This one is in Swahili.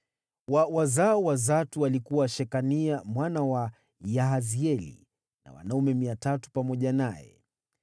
wa wazao wa Zatu, alikuwa Shekania mwana wa Yahazieli na wanaume 300 pamoja naye;